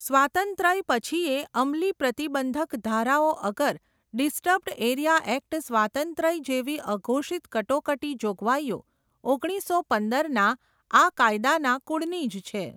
સ્વાતંત્રય પછીયે અમલી પ્રતિબંધક ધારાઓ અગર, ડિસ્ટર્બ્ડ એરિયા એક્ટ સ્વાતંત્રય જેવી અઘોષિત કટોકટી જોગવાઈઓ, ઓગણીસો પંદર ના આ કાયદાના કુળનીજ છે.